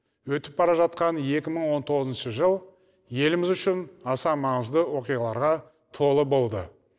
өтіп бара жатқан екі мың он тоғызыншы жыл еліміз үшін аса маңызды оқиғаларға толы болды